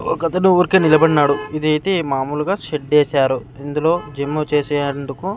ఒకతను ఊరికే నిలబడ్నాడు ఇదైతే మామూలుగా షెడ్డేసారు ఇందులో జిమ్ము చేసే అండుకు --